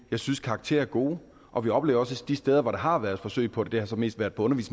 jeg synes karakterer er gode og vi oplever også de steder hvor der har været forsøg på det det har så mest været på